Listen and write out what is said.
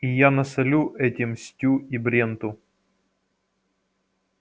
и я насолю этим стю и бренту